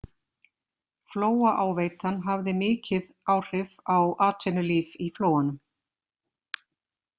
Flóaáveitan hafði mikið áhrif á atvinnulíf í Flóanum.